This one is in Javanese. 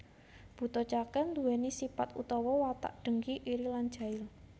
Buta Cakil nduwèni sipat utawa watak dengki iri lan jail